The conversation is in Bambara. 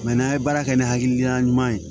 n'an ye baara kɛ ni hakilila ɲuman ye